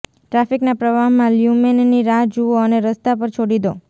ટ્રાફિકના પ્રવાહમાં લ્યુમેનની રાહ જુઓ અને રસ્તા પર છોડી દો